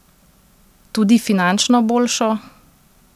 Tudi finančno boljšo?